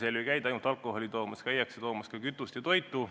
Lätis ei käida ainult alkoholi toomas, käiakse ostmas ka kütust ja toitu.